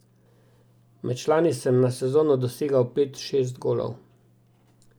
Med člani sem na sezono dosegal pet, šest golov.